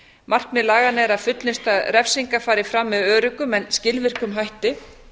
markmið laganna er að fullnusta refsinga fari fram með öruggum en skilvirkum hætti